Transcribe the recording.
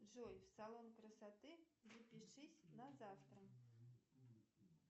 джой в салон красоты запишись на завтра